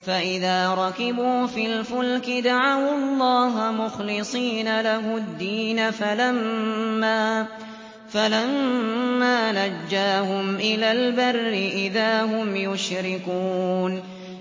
فَإِذَا رَكِبُوا فِي الْفُلْكِ دَعَوُا اللَّهَ مُخْلِصِينَ لَهُ الدِّينَ فَلَمَّا نَجَّاهُمْ إِلَى الْبَرِّ إِذَا هُمْ يُشْرِكُونَ